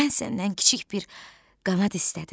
Mən səndən kiçik bir qanad istədim.